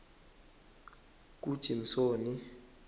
kujimsoni